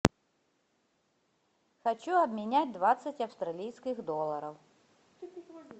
хочу обменять двадцать австралийских долларов